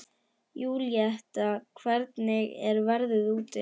Júlíetta, hvernig er veðrið úti?